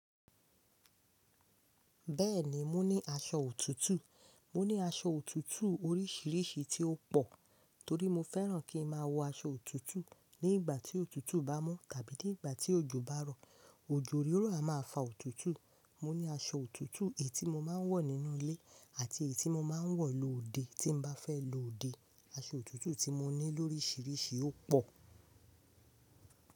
Bẹ́ẹ̀ni, mo ní aṣọ òtútù. Mo ní aṣọ òtútù oríṣiríṣi tí ó pò, torí mo fẹ́ràn kí ń máa wọ aṣọ òtútù nígbà tí òtútù bá mu tàbí nígbà tí òjò bá rọ. Òjò ríró a máa fa òtútù. Mo ní aṣọ òtútù èyí tí mo máa ń wọ̀ nínú ilé àti èyí tí mo máa ń wọ̀ lọ òde tí bá fẹ́ lọ òde. Aṣọ òtútù tí mo ní lóríṣiríṣi ó pò.